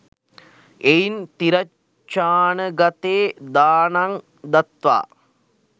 එයින් තිරච්ඡානගතෙ දානං දත්වා